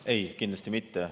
Ei, kindlasti mitte.